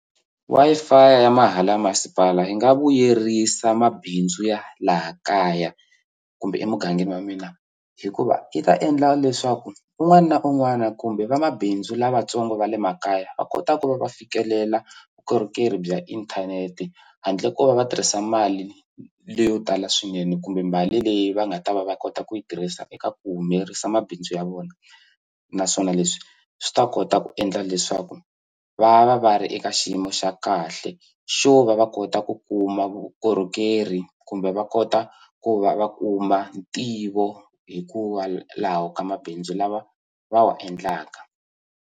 Wi-Fi ya mahala ya masipala yi nga vuyerisa mabindzu ya laha kaya kumbe emugangeni wa mina hikuva yi ta endla leswaku un'wana na un'wana kumbe vamabindzu lavatsongo va le makaya va kota ku va va fikelela vukorhokeri bya inthanete handle ko va va tirhisa mali leyo tala swinene kumbe mali leyi va nga ta va va kota ku yi tirhisa eka ku humelerisa mabindzu ya vona naswona leswi swi ta kota ku endla leswaku va va va ri eka xiyimo xa kahle xo va va kota ku kuma vukorhokeri kumbe va kota ku va va kuma ntivo hikuva laha ka mabindzu lawa va wa endlaka.